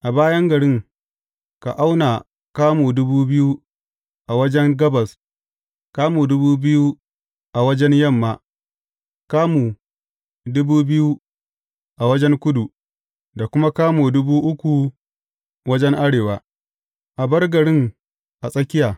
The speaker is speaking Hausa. A bayan garin, ka auna kamu dubu biyu a wajen gabas, kamu dubu biyu a wajen yamma, kamu dubu biyu wajen kudu, da kuma kamu dubu uku wajen arewa, a bar garin a tsakiya.